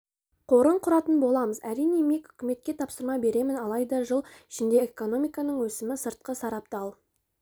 қорын құратын боламыз әрине мек үкіметке тапсырма беремін алайда жыл ішінде экономиканың өсімі сыртқы сарабдал